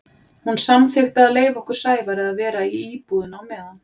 Hún samþykkti að leyfa okkur Sævari að vera í íbúðinni á meðan.